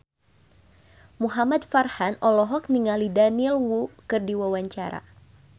Muhamad Farhan olohok ningali Daniel Wu keur diwawancara